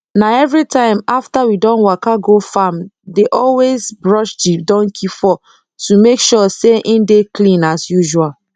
na everytime after we don waka go farmi dey always brush the donkey fur to make sure say e dey clean as usual